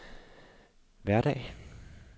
hverdag